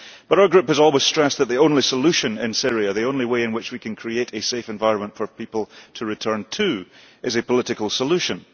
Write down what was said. Our Group has always stressed that the only solution in Syria, the only way in which we can create a safe environment for people to return to, is a political solution.